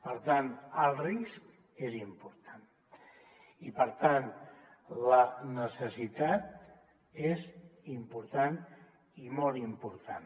per tant el risc és important i per tant la necessitat és important i molt important